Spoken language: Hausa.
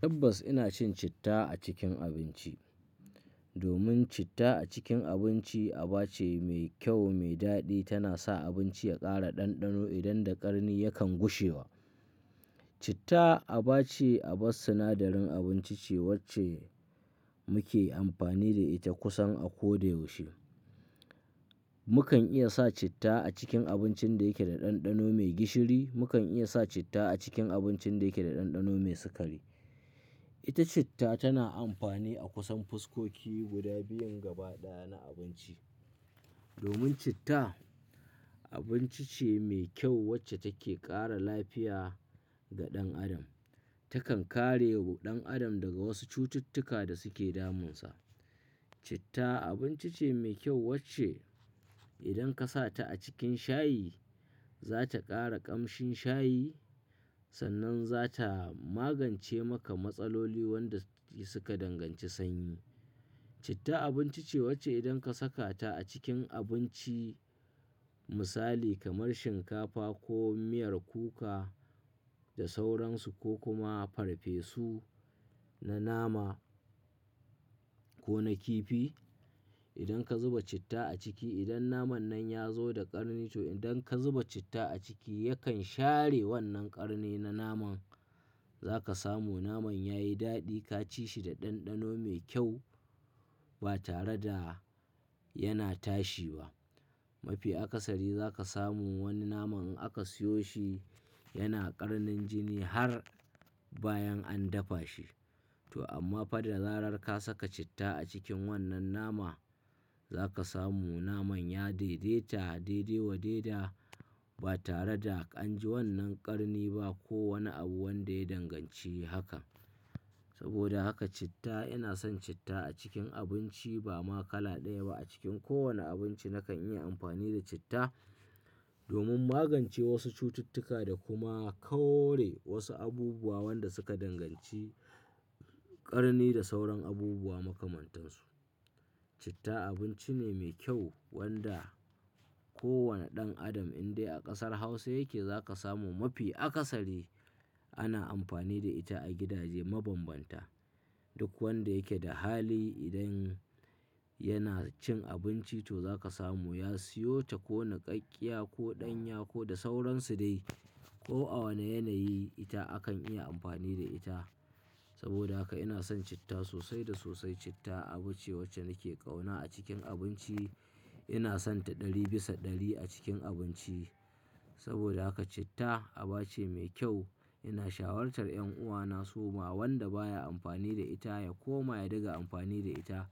Tabbas ina cin citta a cikin abinci. Domin citta a cikin abinci aba ce mai kyau, mai daɗi. Tana sa abinci ya ƙara ɗanɗano idan da ƙarni yakan gushewa. Citta aba ce, aba sinadarin abinci ce wacce muke amfani da ita kusan a ko da yaushe. Mukan iya sa citta a cikin abincin da yake da ɗanɗano mai gishiri, mukan iya sa citta a cikin abincin da yake da ɗanɗano mai sukari. Ita citta tana amfani a kusan fuskoki guda biyun gaba ɗaya na abinci. Domin citta abinci ce mai kyau wacce take ƙara lafiya ga ɗan adam. Takan kare wa ɗan adam daga wasu cututtuka da suke damunsa. Citta abinci ce mai kyau wacce idan ka sa ta a cikin shayi, za ta ƙara ƙamshin shayi sannan za ta magance maka matsaloli wanda su ka danganci sanyi. Citta abinci ce wacce idan ka saka ta a cikin abinci misali kamar shinkafa ko miyar kuka da sauransu ko kuma farfesu na nama ko na kifi. Idan ka zuba citta a ciki, idan naman nan ya zo da ƙarni to idan ka zuba citta a ciki yakan share wannan ƙarni na naman. Za ka samu naman ya yi daɗi, ka ci shi da ɗanɗano mai kyau ba tare da yana tashi ba. Mafi akasari za ka samu wani naman in aka siyo shi yana ƙarnin jini har bayan an dafa shi. To amma fada larar ka saka citta a cikin wannan nama, za ka samu naman ya daidaita, daidai wa daida ba tare da an ji wannan ƙarni ba ko wani abu wanda ya danganci haka. Saboda haka citta, ina son citta a cikin abinci ba ma kala ɗaya ba. A cikin kowane abinci nakan yi amfani da citta domin magance wasu cututtuka da kuma kore wasu abubuwa wanda suka danganci ƙarni da sauran abubuwa makamantan su. Citta abinci ne mai kyau wanda ko wane ɗan adam in dai a ƙasar Hausa yake za ka samu mafi akasari ana amfani da ita a gidaje mabanbanta. Duk wanda yake da hali idan yana cin abinci to za ka samu. Ya siyo ta ko naƙaƙƙiya ko ɗanya ko da sauransu dai ko a wane yanayi ita akan iya amfani da ita. Saboda haka ina son citta sosai da sosai. Citta abu ce wacce nake ƙauna a cikin abinci. Ina son ta ɗari bisa ɗari a cikin abinci. Saboda haka citta aba ce mai kyau. Ina shawartar 'yan uwana su ma wanda baya amfani da ita ya koma ya dinga amfani da ita.